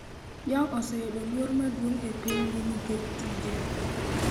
Yong oseyudo luor maduong' e pinygi nikech tije.